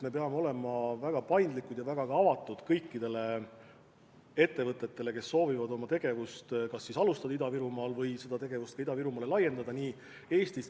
Me peame olema väga paindlikud ja ka väga avatud kõikidele ettevõtetele nii Eestist kui ka väljastpoolt Eestit, kes soovivad oma tegevust kas alustada Ida-Virumaal või oma tegevust Ida-Virumaale laiendada.